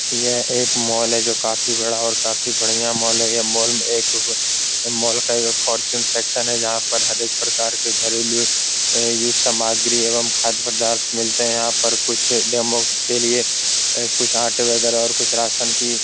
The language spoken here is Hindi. यह एक मॉल है जो काफी बड़ा और काफी बढ़ियां मॉल है ये मॉल में एक मॉल का ये फोर्चून सेक्शन है जहां पर हर एक प्रकार के घरेलु और यर सामग्री खाद पदार्थ मिलते हैं यहाँ पर कुछ डेमो के लिए कुछ आटे वगेरा कुछ रासन की --